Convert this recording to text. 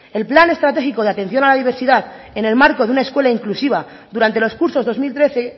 el plan estratégico de atención a la diversidad en el marco de una escuela inclusiva durante los cursos dos mil trece